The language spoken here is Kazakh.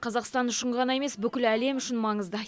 қазақстан үшін ғана емес бүкіл әлем үшін маңызды